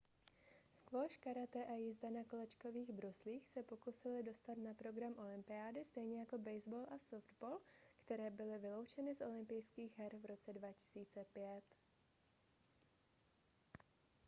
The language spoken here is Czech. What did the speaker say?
squash karate a jízda na kolečkových bruslích se pokusily dostat na program olympiády stejně jako baseball a softball které byly vyloučeny z olympijských her v roce 2005